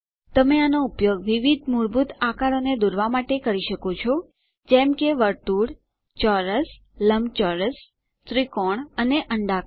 તમે આનો ઉપયોગ વિવિધ મૂળભૂત આકારોને દોરવાં માટે કરી શકો છો જેમ કે વર્તુળ ચોરસ લંબચોરસ ત્રિકોણ અને અંડાકાર